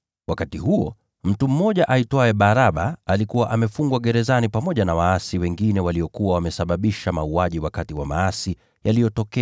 Wakati huo, mtu aliyeitwa Baraba alikuwa amefungwa gerezani pamoja na waasi wengine waliokuwa wametekeleza uuaji wakati wa maasi.